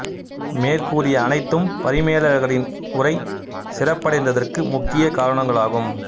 மேற்கூறிய அனைத்தும் பரிமேலழகரின் உரை சிறப்படைந்ததற்கு முக்கிய காரணங்கள் ஆகும்